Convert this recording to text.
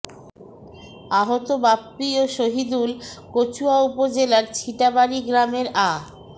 আহত বাপ্পি ও শহিদুল কচুয়া উপজেলার ছিটাবাড়ি গ্রামের আ